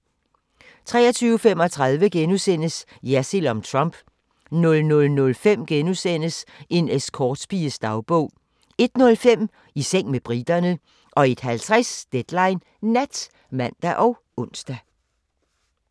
23:35: Jersild om Trump * 00:05: En escortpiges dagbog * 01:05: I seng med briterne 01:50: Deadline Nat (man og ons)